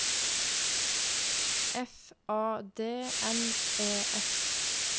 F A D N E S